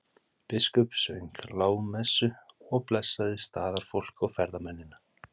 Biskup söng lágmessu og blessaði staðarfólk og ferðamennina.